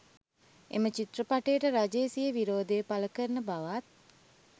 එම චිත්‍රපටයට රජය සිය විරෝධය පළ කරන බවත්